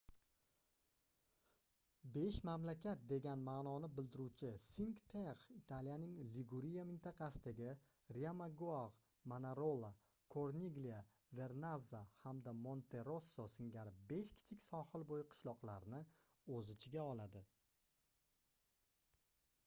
besh mamlakat degan maʼnoni bildiruvchi cinque terre italiyaning liguriya mintaqasidagi riomaggiore manarola corniglia vernazza hamda monterosso singari besh kichik sohil boʻyi qishloqlarni oʻz ichiga oladi